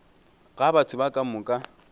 ga batho ba ka moka